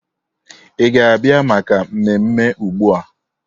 Ị ga-abịa maka mmemme ugbu a?